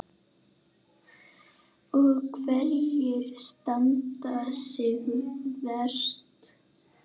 Og hverjar standa sig verst?